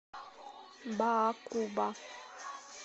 баакуба